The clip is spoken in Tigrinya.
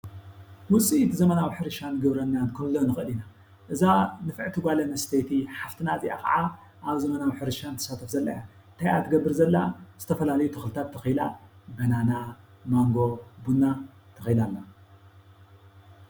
ዉፅኢት ዘመናዊ ሕርሻን ግብርናን ክንብሎ ንኽእል ኢና። እዛ ንፍዕቲ ጓል ኣንስተይቲ ሓፍትና እዚኣ ካዓ ኣብ ዘመናዊ ሕርሻ ትሳተፍ ዘላ እያ። እንታይ እያ ትገብር ዘላ ዝተፈላለዩ ተኽልታት ተኺላ በናና፣ ማንጎ፣ ቡና ተኺላ ኣላ።